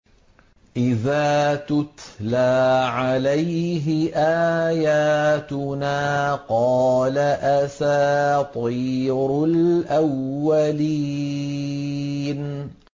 إِذَا تُتْلَىٰ عَلَيْهِ آيَاتُنَا قَالَ أَسَاطِيرُ الْأَوَّلِينَ